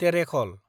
टेरेखल